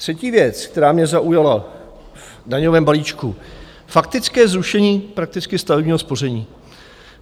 Třetí věc, která mě zaujala v daňovém balíčku, faktické zrušení prakticky stavebního spoření.